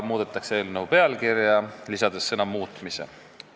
Muudetakse eelnõu pealkirja, sinna lisatakse sõna "muutmise".